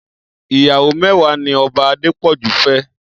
Iyàwó mèwàá ni Òbá Adepoju fè